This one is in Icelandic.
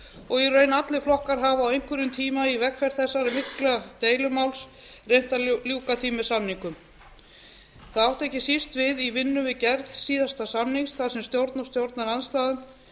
og í raun allir flokkar hafa á einhverjum tíma í vegferð þessa mikla deilumáls reynt að ljúka því með samningum það átti ekki síst við í vinnu við gerð síðasta samnings þar sem stjórn og stjórnarandstaða